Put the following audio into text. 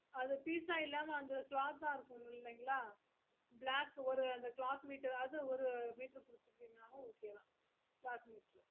அது piece ஆஹ் எல்லாமே cloth ஆஹ் இருக்குங்கில்லையா black ஒரு அந்த cloth meter ஒரு meter குடுத்துட்டீங்களோ okay தான் cloth meter